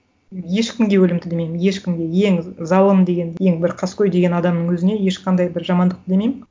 ешкімге өлім тілемеймін ешкімге ең залым деген ең бір қаскөй деген адамның өзіне ешқандай бір жамандық тілемеймін